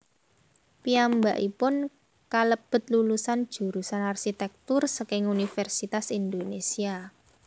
Piyambakipun kalebet lulusan jurusan arsitèktur saking Universitas Indonésia